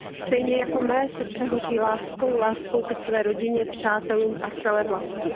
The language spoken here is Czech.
Stejně jako mé srdce hoří láskou, láskou ke své rodině, přátelům a celé vlasti.